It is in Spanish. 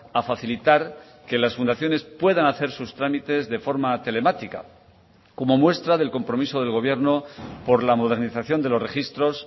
a facilitar que las fundaciones puedan hacer sus trámites de forma telemática como muestra del compromiso del gobierno por la modernización de los registros